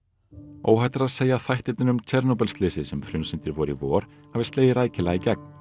óhætt er að segja að þættirnir um Tsjernobyl slysið sem frumsýndir voru í vor hafi slegið rækilega í gegn